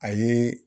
A ye